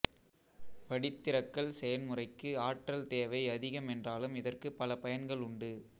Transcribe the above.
வடித்திறக்கல் செயன்முறைக்கு ஆற்றல் தேவை அதிகம் என்றாலும் இதற்குப் பல பயன்கள் உண்டு